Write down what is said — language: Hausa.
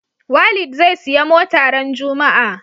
Walid zai siya mota ran juma a